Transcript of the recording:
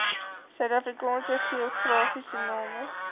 suidafrikaanse geografiese name